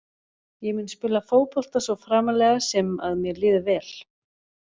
Ég mun spila fótbolta svo framarlega sem að mér líður vel.